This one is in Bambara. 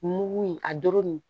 Mugu in a doro nin